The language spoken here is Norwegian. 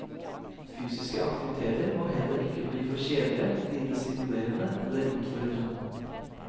Fysiske aktiviteter må heller ikke bli for kjedelige, lite stimulerende eller utfordrende.